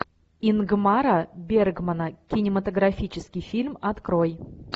ингмара бергмана кинематографический фильм открой